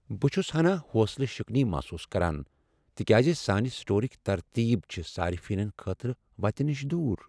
بہٕ چھس ہَنا حوصلہ شکنی محسوس کران تکیاز سانہِ سٹورک ترتیب چھ صارفینن خٲطرٕ وتہ نِش دوٗر۔